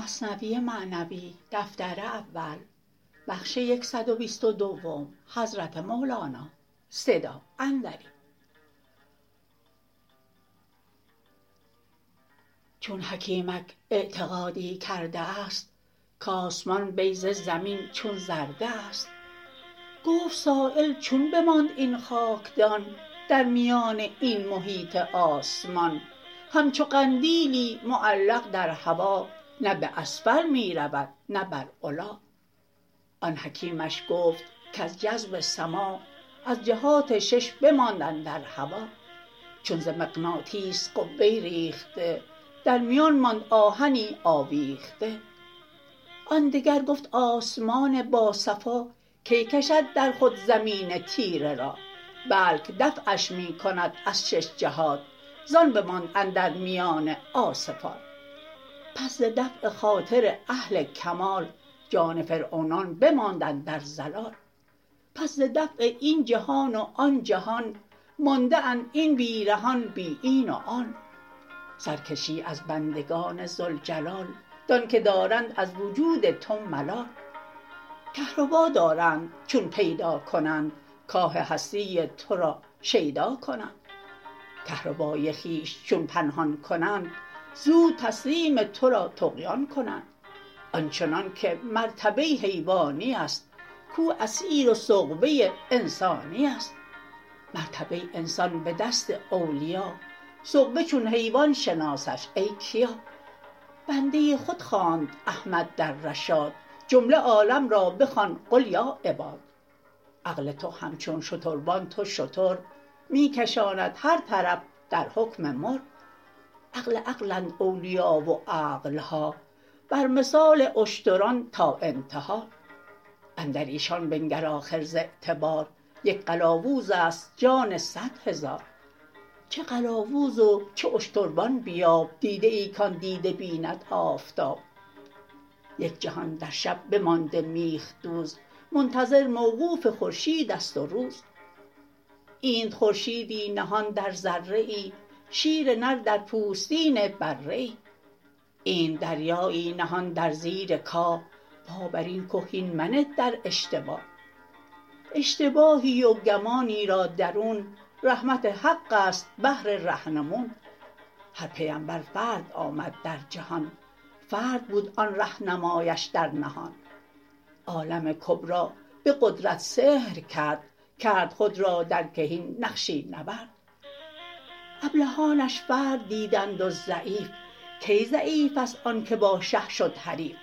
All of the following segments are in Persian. چون حکیمک اعتقادی کرده است کآسمان بیضه زمین چون زرده است گفت سایل چون بماند این خاکدان در میان این محیط آسمان همچو قندیلی معلق در هوا نه باسفل می رود نه بر علا آن حکیمش گفت کز جذب سما از جهات شش بماند اندر هوا چون ز مغناطیس قبه ریخته درمیان ماند آهنی آویخته آن دگر گفت آسمان با صفا کی کشد در خود زمین تیره را بلک دفعش می کند از شش جهات زان بماند اندر میان عاصفات پس ز دفع خاطر اهل کمال جان فرعونان بماند اندر ضلال پس ز دفع این جهان و آن جهان مانده اند این بی رهان بی این و آن سر کشی از بندگان ذوالجلال دان که دارند از وجود تو ملال کهربا دارند چون پیدا کنند کاه هستی ترا شیدا کنند کهربای خویش چون پنهان کنند زود تسلیم ترا طغیان کنند آنچنان که مرتبه حیوانیست کو اسیر و سغبه انسانیست مرتبه انسان به دست اولیا سغبه چون حیوان شناسش ای کیا بنده خود خواند احمد در رشاد جمله عالم را بخوان قل یا عباد عقل تو همچون شتربان تو شتر می کشاند هر طرف در حکم مر عقل عقلند اولیا و عقلها بر مثال اشتران تا انتها اندریشان بنگر آخر ز اعتبار یک قلاووزست جان صد هزار چه قلاووز و چه اشتربان بیاب دیده ای کان دیده بیند آفتاب یک جهان در شب بمانده میخ دوز منتظر موقوف خورشیدست و روز اینت خورشیدی نهان در ذره ای شیر نر در پوستین بره ای اینت دریایی نهان در زیر کاه پا برین که هین منه با اشتباه اشتباهی و گمانی را درون رحمت حقست بهر رهنمون هر پیمبر فرد آمد در جهان فرد بود آن رهنمایش در نهان عالم کبری به قدرت سحر کرد کرد خود را در کهین نقشی نورد ابلهانش فرد دیدند و ضعیف کی ضعیفست آن که با شه شد حریف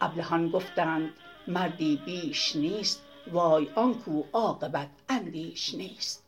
ابلهان گفتند مردی بیش نیست وای آنکو عاقبت اندیش نیست